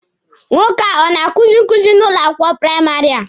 Nwoke a ọ na-akuzi nkuzi n'ụlọ akwụkwọ praịmarị a?